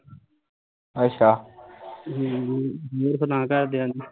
ਅੱਛਾ